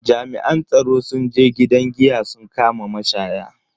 Jami'an tsaro sun je gidan giya sun kama mashaya.